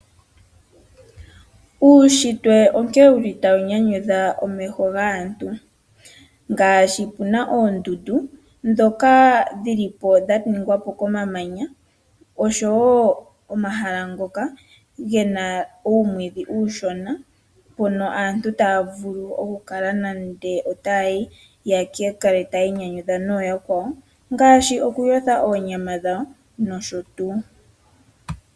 Uushitwe onkene wuli tawu nyanyudha omeho gaantu ngaashi puna oondundu ndhoka dhili po dha nigwa komamanya, oshowo omahala ngoka gena uumwidhi uushona mpono aantu taya vulu oku kala nande otaya yi nokwiinyanyudha nooyakwawo ngaashi okuyotha oonyama dhawo nosho tuu